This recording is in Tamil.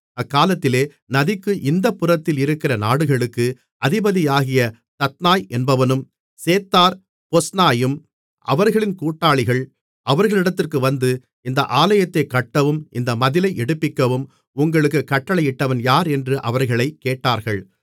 அக்காலத்திலே நதிக்கு இந்தப்புறத்தில் இருக்கிற நாடுகளுக்கு அதிபதியாகிய தத்னாய் என்பவனும் சேத்தார் பொஸ்னாயும் அவர்கள் கூட்டாளிகள் அவர்களிடத்திற்கு வந்து இந்த ஆலயத்தைக் கட்டவும் இந்த மதிலை எடுப்பிக்கவும் உங்களுக்குக் கட்டளையிட்டவன் யார் என்று அவர்களைக் கேட்டார்கள்